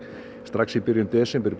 strax í byrjun desember